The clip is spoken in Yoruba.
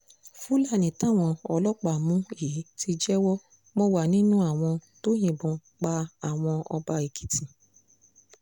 fúlàní táwọn ọlọ́pàá mú yìí ti jẹ́wọ́ mo wà nínú àwọn tó yìnbọn pa àwọn ọba èkìtì